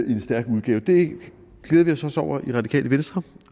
i en stærk udgave det glæder vi os også over i det radikale venstre